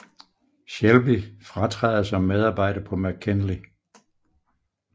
Shelby fratræder som medarbejder på McKinley